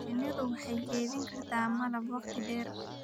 Shinnidu waxay kaydin kartaa malab wakhti dheer.